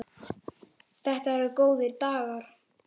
Þetta eru góðir dagar.